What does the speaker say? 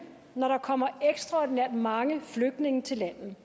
når der kommer ekstraordinært mange flygtninge til landet